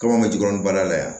Kaba jukɔrɔ baara la yan